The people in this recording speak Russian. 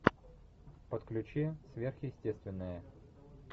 подключи сверхъестественное